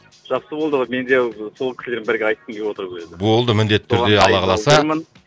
жақсы болды ғой мен де сол кісілермен бірге айтқым келіп отыр еді ғой болды міндетті түрде алла қаласа